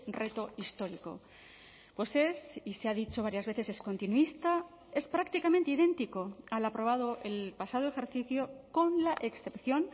reto histórico pues es y se ha dicho varias veces es continuista es prácticamente idéntico al aprobado el pasado ejercicio con la excepción